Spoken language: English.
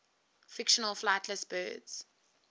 fictional flightless birds